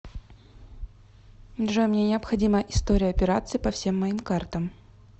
джой мне необходима история операций по всем моим картам